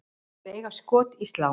Þær eiga skot í slá.